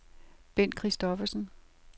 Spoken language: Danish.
Bent Christoffersen